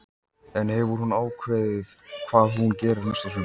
En hefur hún ákveðið hvað hún gerir næsta sumar?